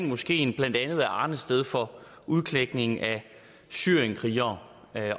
moskeen blandt andet er arnested for udklækning af syrienskrigere